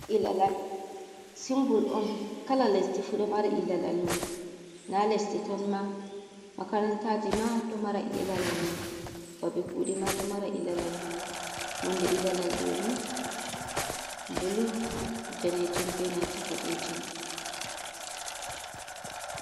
Ilalal simbul on kala lesdi fu ɗo mari ilalal mum na lesdi tan ma makarantaji ma ɗo mara ilalal mum babe kuɗe ma ɗo mara ilalal mu nonde ilalal ɗoni bulu danejum be nanta boɗejum.